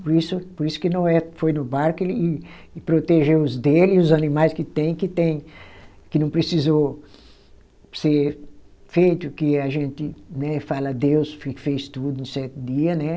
Por isso, por isso que Noé foi no barco e e protegeu os dele e os animais que tem, que tem que não precisou ser feito, que a gente né fala Deus fez tudo em sete dia, né?